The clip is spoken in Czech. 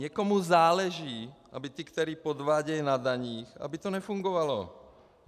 Někomu záleží, aby ti, kteří podvádějí na daních, aby to nefungovalo.